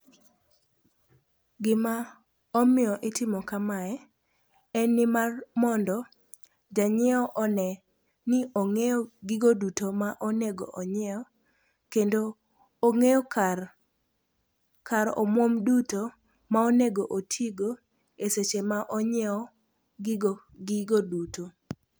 Gima omiyo itimo kamae en nimar mondo janyiewo one ni ong'eyo gigo duto ma onego onyiew. Kendo ong'eyo kar kar omuom duto ma onego otigo e seche ma onyiewo gigo duto.